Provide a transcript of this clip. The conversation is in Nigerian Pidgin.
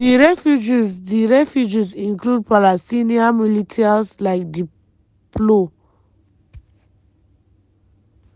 di refugees di refugees include palestinian militias like di plo.